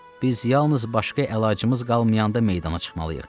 Biz yalnız başqa əlacımız qalmayanda meydana çıxmalıyıq.